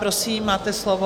Prosím, máte slovo.